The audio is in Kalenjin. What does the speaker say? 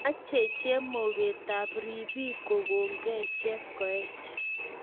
Mechei chemogetab ripik kokongei Chepkoech